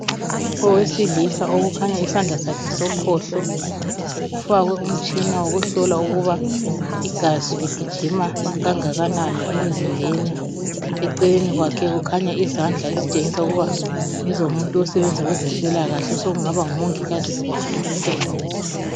Owesilisa okukhanya isandla sakhe sokhohlo kufakwe umtshina wokuhlola ukuba igazi ligijima kangakanani emzimbeni. Eceleni kwakhe kukhanya izandla ezitshengisa ukuba ngezomuntu osebenza kwezempilakahle osekungaba ngumongikazi loba udokotela.